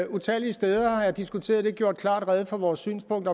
utallige steder har jeg diskuteret det og gjort klart rede for vores synspunkt